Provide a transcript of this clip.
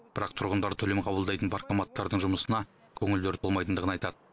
бірақ тұрғындар төлем қабылдайтын паркоматтардың жұмысына көңілдері толмайтындығын айтады